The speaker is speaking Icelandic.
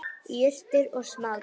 Jurtir og smádýr.